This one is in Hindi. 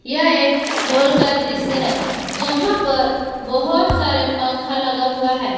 यह एक हॉल का दृश्य है जहां पर बहुत सारे पंखा लगा हुआ है।